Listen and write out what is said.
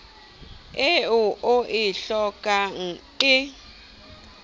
eo o e hlokang e